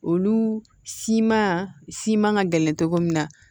Olu siman siman ka gɛlɛn cogo min na